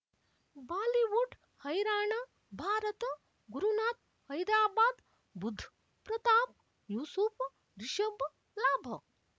Bollywood ಹೈರಾಣ ಭಾರತ ಗುರುನಾಥ್ ಹೈದರಾಬಾದ್ ಬುಧ್ ಪ್ರತಾಪ್ ಯೂಸುಫ್ ರಿಷಬ್ ಲಾಭ